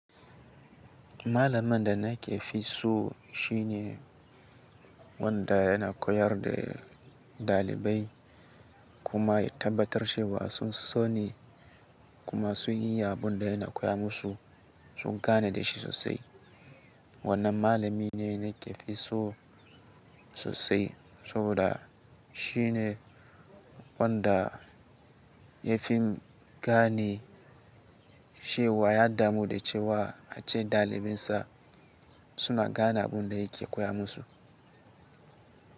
Malaman da nake fi so shine wanda yana koyar da ɗalibai kuma ya tabbatar cewa sun so ni kuma sun yi abun da yana koya musu, sun gane da shi sosai. Wannan malami ne nake fi so sosai saboda shi ne wanda ya fi gane ce wa ya damu da cewa ace ɗalibinsa suna gane abun da yake koya musu.